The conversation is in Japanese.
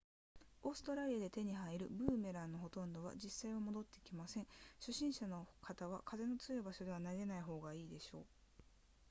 オーストラリアで手に入るブーメランのほとんどは実際は戻って来ません初心者の方は風の強い場所では投げない方が良いでしょう